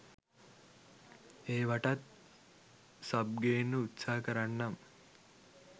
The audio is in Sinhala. ඒවටත් සබ් ගේන්න උත්සාහ කරන්නම්.